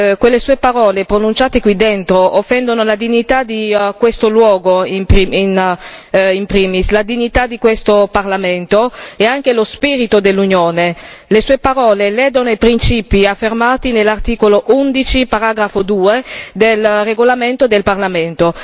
Quelle sue parole pronunciate qui dentro offendono la dignità di questo luogo in primis, la dignità di questo Parlamento e anche lo spirito dell'Unione. Le sue parole ledono i principi affermati nell'articolo 11, paragrafo 2, del regolamento del Parlamento.